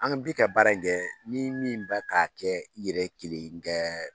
An bi ka baara in kɛ ni min bɛ k'a kɛ i yɛrɛ kelen kɛ